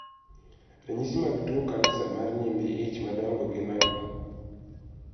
Ranyisi mag tuo kansa mar nyimbi ich madongo gin ang'o?